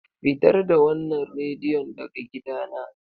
Fitar da wannan radiyon daga gidana!